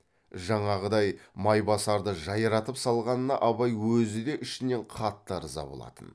жаңағыдай майбасарды жайратып салғанына абай өзі де ішінен қатты ырза болатын